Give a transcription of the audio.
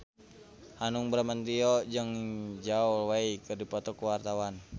Hanung Bramantyo jeung Zhao Wei keur dipoto ku wartawan